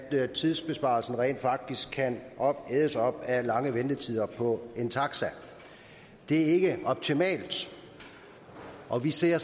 tidsbesparelsen rent faktisk kan ædes op af lange ventetider på en taxa det er ikke optimalt og vi ser